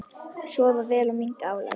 Sofa vel og minnka álag.